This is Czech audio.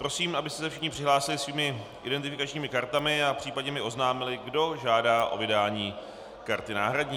Prosím, abyste se všichni přihlásili svými identifikačními kartami a případně mi oznámili, kdo žádá o vydání karty náhradní.